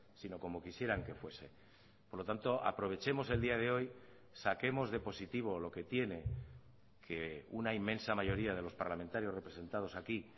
sino como quisieran que fuese por lo tanto aprovechemos el día de hoy saquemos de positivo lo que tiene que una inmensa mayoría de los parlamentarios representados aquí